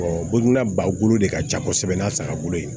boginna ba bolo de ka ca kosɛbɛ n'a sagagolo ye